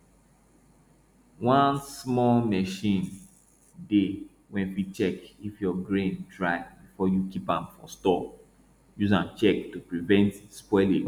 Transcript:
one small machine dey wey fit check if your grain dry before you keep am for store use am check to prevent spoilage